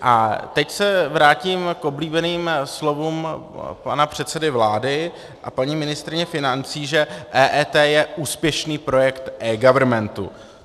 A teď se vrátím k oblíbeným slovům pana předsedy vlády a paní ministryně financí, že EET je úspěšný projekt eGovernmentu.